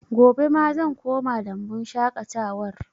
Gobe ma zan koma lambun shaƙatawar